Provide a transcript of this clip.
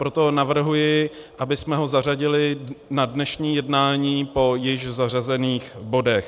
Proto navrhuji, abychom ho zařadili na dnešní jednání po již zařazených bodech.